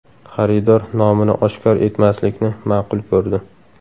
Xaridor nomini oshkor etmaslikni ma’qul ko‘rdi.